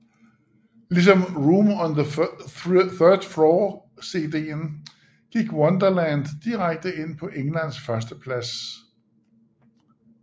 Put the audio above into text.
Ligesom Room on the 3rd floor cden gik Wonderland direkte ind på englands førsteplads